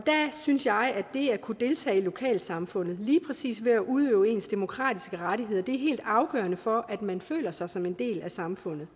synes jeg at det at kunne deltage i lokalsamfundet lige præcis ved at udøve ens demokratiske rettigheder er helt afgørende for at man føler sig som en del af samfundet